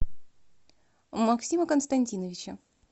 максима константиновича